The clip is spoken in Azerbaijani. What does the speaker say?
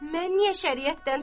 Mən niyə şəriətdən çıxıram ki?